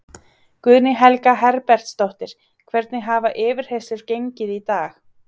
Guðný Helga Herbertsdóttir: Hvernig hafa yfirheyrslur gengið í dag?